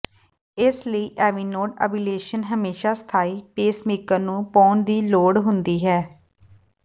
ਇਸ ਲਈ AV node ablation ਹਮੇਸ਼ਾ ਸਥਾਈ ਪੇਸਮੇਕਰ ਨੂੰ ਪਾਉਣ ਦੀ ਲੋੜ ਹੁੰਦੀ ਹੈ